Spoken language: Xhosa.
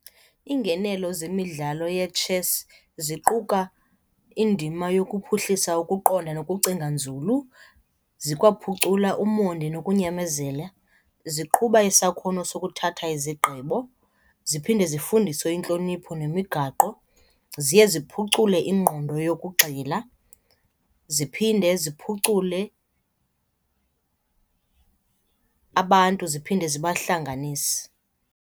Iingenelo zemidlalo ye-chess ziquka indima yokuphuhlisa ukuqonda nokucinga nzulu, zikwaphucula umonde nokunyamezela, ziqhuba isakhono sokuthatha izigqibo, ziphinde zifundise intlonipho nemigaqo. Ziye ziphucule ingqondo yokugxila, ziphinde ziphucule abantu, ziphinde zibahlanganise.